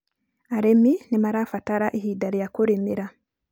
arĩmi nĩ marabatara ihinda rĩa kũrimira